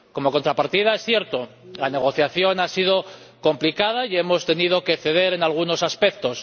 Como contrapartida, es cierto que la negociación ha sido complicada y hemos tenido que ceder en algunos aspectos.